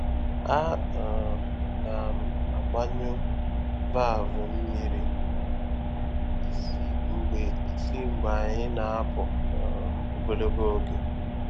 A um na m agbanyụ valvụ mmiri um isi mgbe isi mgbe anyị na-apụ um ogologo oge.